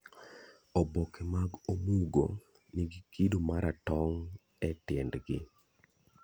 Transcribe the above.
Oboke mag omugo nigi kido ma ratong' e tiendgi.